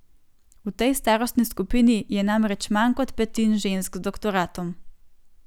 V tej starostni skupini je namreč manj kot petin žensk z doktoratom.